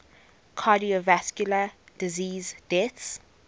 cardiovascular disease deaths